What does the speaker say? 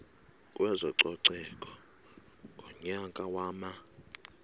kwezococeko ngonyaka wama